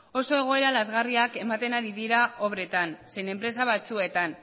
oso egoera lazgarriak ematen ari dira obretan zein enpresa batzuetan